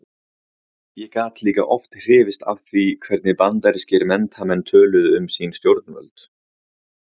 Ég gat líka oft hrifist af því hvernig bandarískir menntamenn töluðu um sín stjórnvöld.